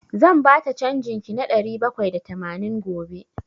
Zan bata canjin ki na ɗari bakwai da tamanin gobe.